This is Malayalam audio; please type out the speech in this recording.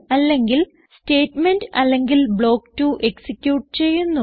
അല്ലെങ്കിൽ സ്റ്റേറ്റ്മെന്റ് അല്ലെങ്കിൽ ബ്ലോക്ക് 2 എക്സിക്യൂട്ട് ചെയ്യുന്നു